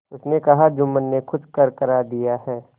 उसने कहाजुम्मन ने कुछ करकरा दिया है